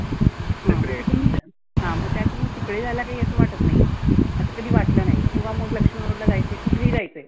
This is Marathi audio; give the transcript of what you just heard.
हं मग इकडुन द हा मग तिकडे जायला असं काही वाटत नाहीए. असं कधी वाटलं नाही. किंवा मग लक्ष्मी road ला जायचं आहे कुठे ही जायच आहे.